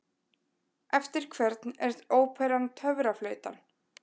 Eftir hvern er óperan Töfraflautan?